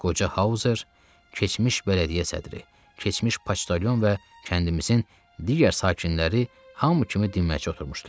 Qoca Hauzer, keçmiş bələdiyyə sədri, keçmiş poçtalyon və kəndimizin digər sakinləri hamı kimi dinməyincə oturmuşdular.